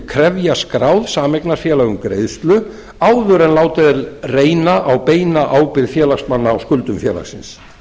krefja skráð sameignarfélag um greiðslu áður en látið er reyna á beina ábyrgð félagsmanna á skuldum félagsins